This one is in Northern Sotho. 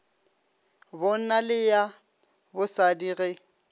bonna le ya bosadi ge